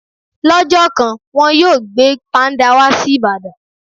Lọ́jọ́ kan, wọn yóò gbé Páńdà wá sí Ìbàdàn.